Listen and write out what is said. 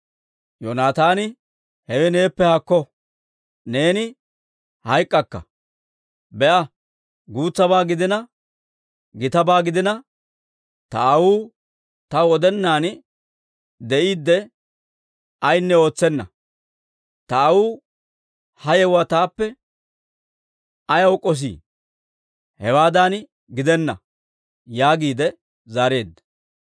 Yoonataani, «Hewe neeppe haakko! Neeni hayk'k'akka. Be'a, guutsabaa gidiina, gitabaa gidiina, ta aawuu taw odennan de'iidde ayaanne ootsenna. Ta aawuu ha yewuwaa taappe ayaw k'ossi? Hewaadan gidenna!» yaagiide zaareedda.